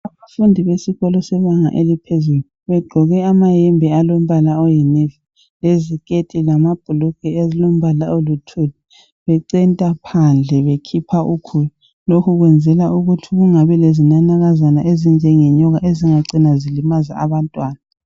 Abafundi besikolo sebanga eliphezulu, begqoke ayembe alombala oyi nevi liziketi lamabhulugwe alombala oluthuli, becenta phandle bekhipha ukhula. Lokhu kwenzela ukuthi kungabi lezinanakazana ezinjenge nyoka ezingacina zilimaza abantwana.